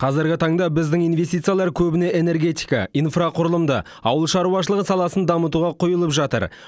қазіргі таңда біздің инвестициялар көбіне энергетика инфрақұрылымды ауыл шаруашылығы саласын дамытуға құйылып жатыр